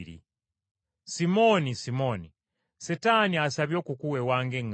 “Simooni, Simooni, Setaani asabye okukuwewa ng’eŋŋaano,